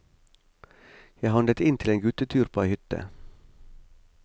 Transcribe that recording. Jeg handlet inn til en guttetur på ei hytte.